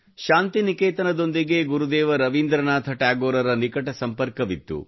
ಶಾಂತಿನಿಕೇತನದೊಂದಿಗೆ ಗುರುದೇವ ರವೀಂದ್ರನಾಥ ಟ್ಯಾಗೋರರ ನಿಕಟ ಸಂಪರ್ಕವಿತ್ತು